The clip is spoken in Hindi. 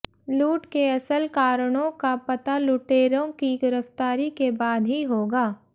लूट के असल कारणों का पता लूटेरों की गिरफ्तारी के बाद ही होगा